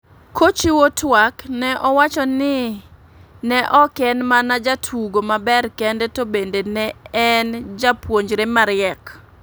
K ochiwo tuak ne owacho ni ne ok en mana jatugo maber kende to bende ne en japuonjre ma riek.